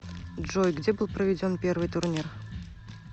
джой где был проведен первый турнир